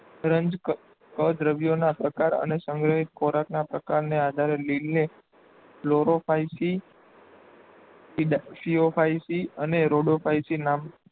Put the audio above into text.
રંજકદ્રવ્યોના પ્રકાર અને સંગ્રહિત ખોરાકના પ્રકારને આધારે લીલને ક્લોરોફાયસી, ફીઓફાયસી અને રોડોફાયસી નામ